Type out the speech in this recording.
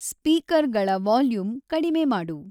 ಸ್ಪಿಕರ್ಗಳ volume ಕಡಿಮೆ ಮಾಡು